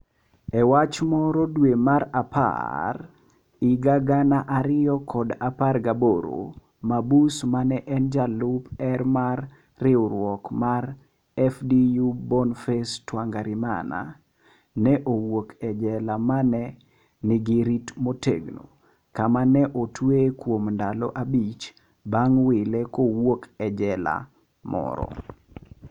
e wach moro dwe mar apar 2018, mabus ma en jalup er mar riwruok mar FDU Bonface Twangarimana. ne owuok e jela ma ne nigi rit motegno kama ne otweye kuom ndalo abich bang wile kowuok e jela moro